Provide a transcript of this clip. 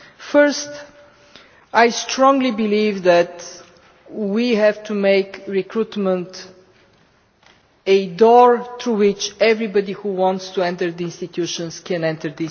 Firstly, I strongly believe that we have to make recruitment a door through which everybody who wants to enter the institutions can enter.